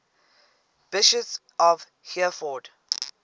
bishops of hereford